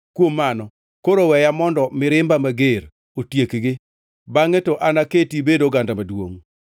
Kuom mano, koro weya mondo mirimba mager otiekgi. Bangʼe to anaketi ibed oganda maduongʼ.”